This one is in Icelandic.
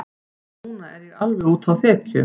Núna er ég alveg úti á þekju.